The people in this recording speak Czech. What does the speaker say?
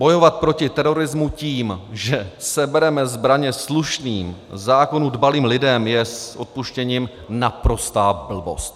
Bojovat proti terorismu tím, že sebereme zbraně slušným, zákonů dbalým lidem, je s odpuštěním naprostá blbost.